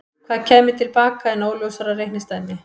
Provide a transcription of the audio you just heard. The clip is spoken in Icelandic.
Hvað kæmi til baka er óljósara reikningsdæmi.